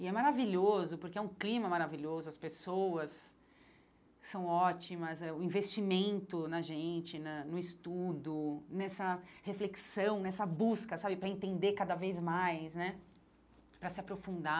E é maravilhoso, porque é um clima maravilhoso, as pessoas são ótimas eh, o investimento na gente, na no estudo, nessa reflexão, nessa busca sabe para entender cada vez mais né, para se aprofundar.